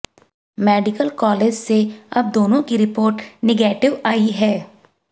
medical college से अब दोनों की रिपोर्ट निगेटिव आई है